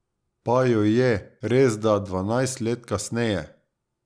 Pa jo je, resda dvanajst let kasneje.